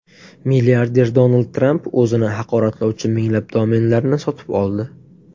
Milliarder Donald Tramp o‘zini haqoratlovchi minglab domenlarni sotib oldi.